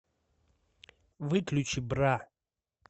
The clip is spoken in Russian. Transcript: выключи бра